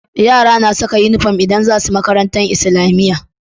Yara na ƙasa inufom idan zasu Makarantar islamiya